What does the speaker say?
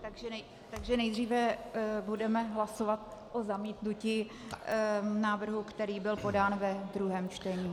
Takže nejdříve budeme hlasovat o zamítnutí návrhu, který byl podán ve druhém čtení.